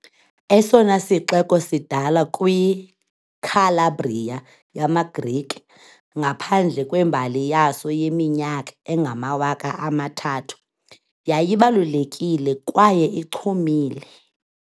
Esona sixeko sidala kwiCalabria yamaGrike, ngaphandle kwembali yaso yeminyaka engamawaka amathathu- yayibalulekile kwaye ichumile